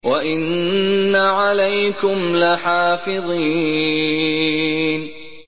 وَإِنَّ عَلَيْكُمْ لَحَافِظِينَ